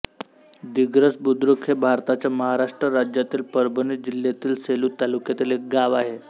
दिग्रस बुद्रुक हे भारताच्या महाराष्ट्र राज्यातील परभणी जिल्ह्यातील सेलू तालुक्यातील एक गाव आहे